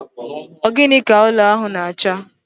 Ogini ka ụlọ ahụ na acha?